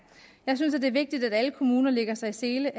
jeg synes det er vigtigt at alle kommuner lægger sig i selen